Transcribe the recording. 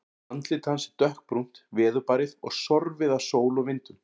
Andlit hans er dökkbrúnt, veðurbarið og sorfið af sól og vindum.